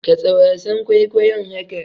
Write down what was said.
Katse wasan kwaikwayon haka!